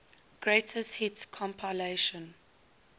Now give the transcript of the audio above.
greatest hits compilation